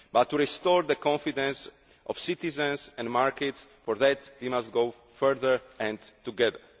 But to restore the confidence of citizens and markets we must go further and together.